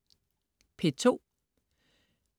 P2: